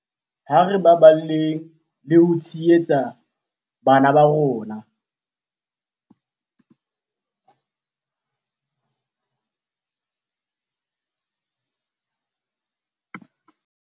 Ha re baballeng le ho tshehetsa bana ba rona